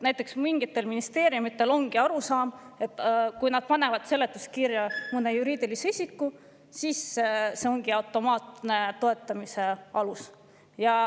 Näiteks mingitel ministeeriumidel ongi arusaam, et kui nad panevad seletuskirja mõne juriidilise isiku, siis see ongi automaatne toetamise alus.